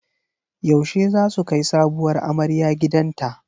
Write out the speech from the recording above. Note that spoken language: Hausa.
Yaushe zasu kai sabuwar amarya gidanta?